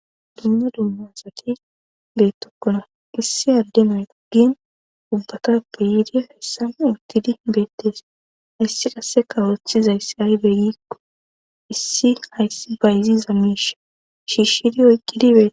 Dunya duummazati beettokkona issi addemay guggin ubbatappe yiidiyo hessan uttidi beettees hayssi qase kawothizayssi aybeegikko issi hayssi bayziza miisha shiishshidi oykkidibeee.